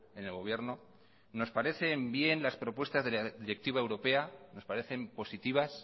en el gobierno nos parecen bien las propuestas de la directiva europea nos parecen positivas